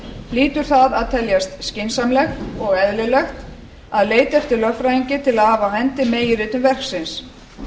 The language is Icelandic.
hlýtur það að teljast skynsamlegt og eðlilegt að leita eftir lögfræðingi til að hafa á hendi meginritun verksins